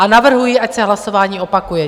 A navrhuji, ať se hlasování opakuje.